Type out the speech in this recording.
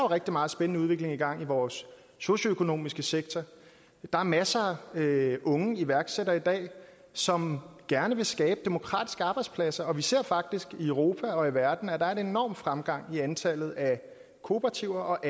rigtig meget spændende udvikling i gang i vores socioøkonomiske sektor der er masser af unge iværksættere i dag som gerne vil skabe demokratiske arbejdspladser og vi ser faktisk i europa og i verden at der er en enorm fremgang i antallet af kooperativer og